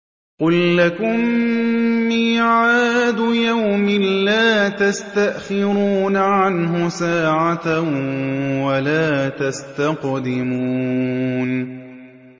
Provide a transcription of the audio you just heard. قُل لَّكُم مِّيعَادُ يَوْمٍ لَّا تَسْتَأْخِرُونَ عَنْهُ سَاعَةً وَلَا تَسْتَقْدِمُونَ